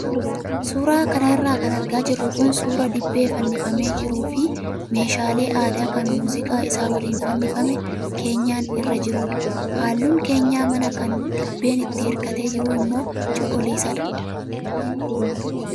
Suuraa kanarra kan argaa jirru kun suuraa dibbee fannifamee jiruu fi meeshaalee aadaa kan muuziqaa isa waliin fannifamee keenyan irra jirudha. Halluun keenyan manaa kan dibbeen itti hirkatee jiru immoo cuquliisadha.